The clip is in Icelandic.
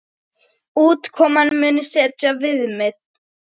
Útkoman muni setja viðmið.